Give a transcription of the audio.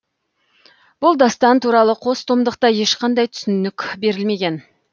бұл дастан туралы қос томдықта ешқандай түсінік берілмеген